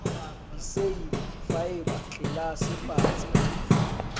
diseili faeba tlelase patsi le